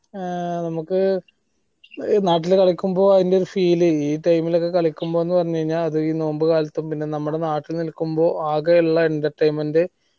ആഹ് നമ്മക്ക് നാട്ടിൽ കളിക്കുമ്പോ അതിൻറെ feel ഈ time ൽ കളിക്കുമ്പോ എന്ന് പറഞ്ഞ് കഴിഞ്ഞാൽ അത് ഈ നോമ്പുകാലത്തും നമ്മളാ നാട്ടിൽ നിൽക്കുമ്പോ ആകെയുള്ള entertainment